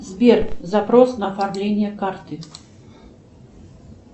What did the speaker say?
сбер запрос на продление карты